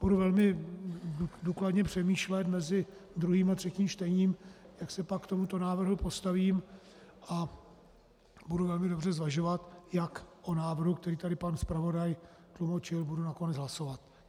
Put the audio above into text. Budu velmi důkladně přemýšlet mezi druhým a třetím čtením, jak se pak k tomuto návrhu postavím, a budu velmi dobře zvažovat, jak o návrhu, který tady pan zpravodaj tlumočil, budu nakonec hlasovat.